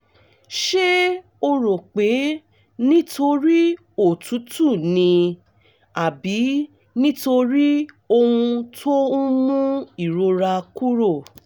ṣé o rò pé nítorí òtútù ni àbí nítorí ohun tó ń mú ìrora kúrò?